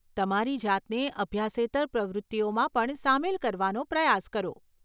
તમારી જાતને અભ્યાસેતર પ્રવૃત્તિઓમાં પણ સામેલ કરવાનો પ્રયાસ કરો.